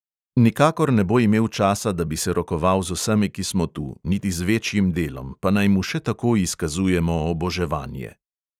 Nikakor ne bo imel časa, da bi se rokoval z vsemi, ki smo tu, niti z večjim delom, pa naj mu še tako izkazujemo oboževanje.